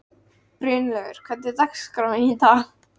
Brynleifur, hvernig er dagskráin í dag?